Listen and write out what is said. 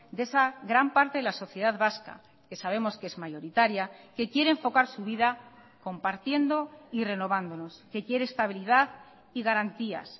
de esa gran parte de la sociedad vasca que sabemos que es mayoritaria que quiere enfocar su vida compartiendo y renovándonos que quiere estabilidad y garantías